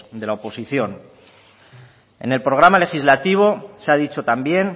de la oposición en el programa legislativo se ha dicho también